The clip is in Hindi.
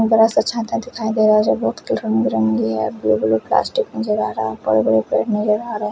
बड़ा सा छाता दिखाई दे रहा है जो बहोत ही रंग बिरंगे और ब्लू ब्लू प्लास्टिक नजर आ रहा बड़े बड़े पेड़ नजर आ रहे--